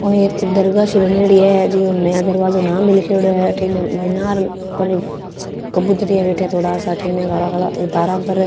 औ एक दरगाह सी बनेड़ी है जीके नया दरवाजो नाम लीखेड़ो है अठीने मिनार पर कबुतर बैठ्या काला काला स तारा पर।